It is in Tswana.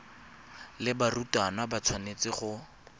le barutwana ba tshwanetse go